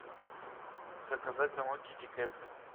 заказать домой китекет